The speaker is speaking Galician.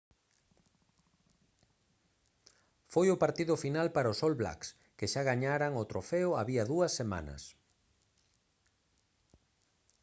foi o partido final para os all blacks que xa gañaran o trofeo había dúas semanas